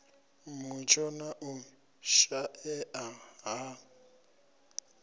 mutsho na u shaea ha